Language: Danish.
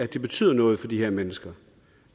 det betyder noget for de her mennesker